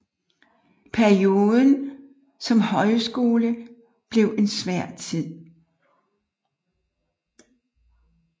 Perioden som højskole blev en svær tid